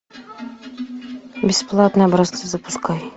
бесплатные образцы запускай